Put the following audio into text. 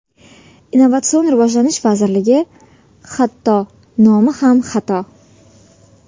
Innovatsion rivojlanish vazirligi hatto nomi ham xato.